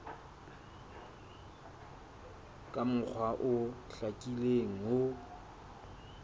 ka mokgwa o hlakileng ho